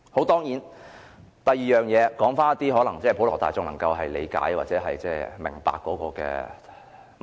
第二，說回普羅大眾能夠理解和明白的問題。